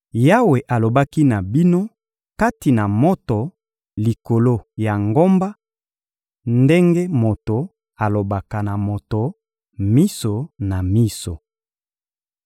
Yawe alobaki na bino kati na moto likolo ya ngomba ndenge moto alobanaka na moto miso na miso.